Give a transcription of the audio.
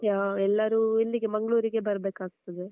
ಯಾ ಎಲ್ಲರೂ ಇಲ್ಲಿಗೆ ಮಂಗಳೂರಿಗೆ ಬರ್ಬೇಕಾಗ್ತದೆ.